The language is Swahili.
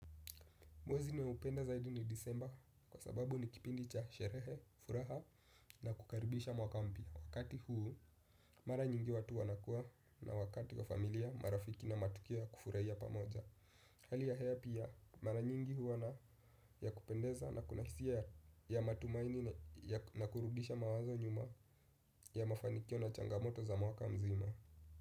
Mwezi ninaoupenda zaidi ni disemba kwa sababu ni kipindi cha sherehe, furaha na kukaribisha mwaka mpya. Wakati huu mara nyingi watu wanakuwa na wakati wa familia marafiki na matukio ya kufurahia pamoja. Hali ya hewa pia mara nyingi huwa na ya kupendeza na kuna hisia ya matumaini na kurudisha mawazo nyuma ya mafanikio na changamoto za mwaka mzima.